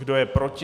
Kdo je proti?